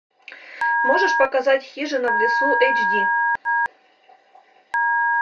можешь показать хижина в лесу эйч ди